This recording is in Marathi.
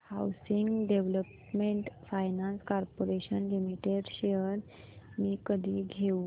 housing development finance corporation limited shares मी कधी घेऊ